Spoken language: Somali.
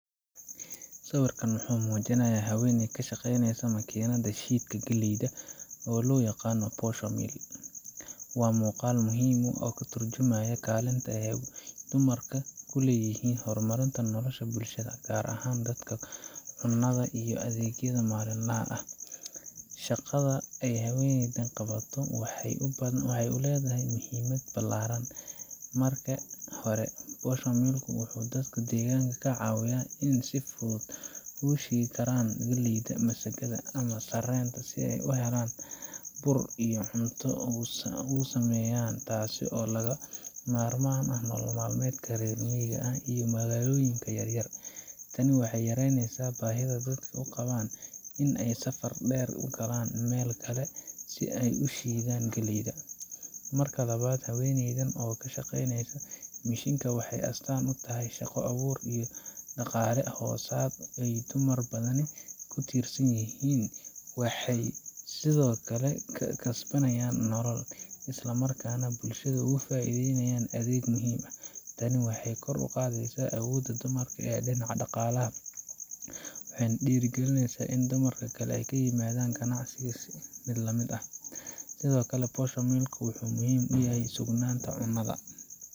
Sawirkan wuxuu muujinayaa haweeney ka shaqaynaysa makiinadda shiidka galleyda, oo loo yaqaan posho mill. Waa muuqaal muhiim ah oo ka tarjumaya kaalinta ee dumarka ay ku leeyihiin horumarinta nolosha bulshada, gaar ahaan dhanka cunnada iyo adeegyada maalinlaha ah. Shaqada ay haweeneydan qabato waxay leedahay muhiimad ballaaran. Marka hore, posho mill ka wuxuu dadka deegaanka ka caawiyaa in ay si fudud u shiidi karaan galleyda, masagada ama sarreenka si ay u helaan bur ay cunto uga sameeyaan, taasoo lagama maarmaan u ah nolol maalmeedka reer miyiga iyo magaalooyinka yar yar. Tani waxay yaraynaysaa baahida dadka u qabaan in ay safar dheer u galaan meel kale si ay u shiidaan galleyda. Marka labaad, haweeneydan oo ka shaqaynaysa mishiinka waxay astaan u tahay shaqo abuur iyo dhaqaale hoosaad ay dumar badani ku tiirsan yihiin. Waxay kasbanaysaa nolol, isla markaana bulshada uga faa’iidaysaa adeeg muhiim ah. Tani waxay kor u qaadaysaa awoodda dumarka ee dhinaca dhaqaalaha waxayna dhiirrigelinaysaa in dumarka kale ay la yimaadaan ganacsi la mid ah. Sidoo kale, posho mill ku wuxuu muhiim u yahay sugnaanta cunnada.